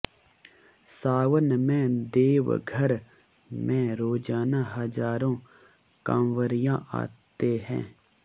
सावन में देवघर में रोजाना हजारों कांवरिया आते हैं